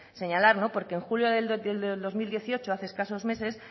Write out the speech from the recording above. señalar porque el junio del dos mil dieciocho hace escasos meses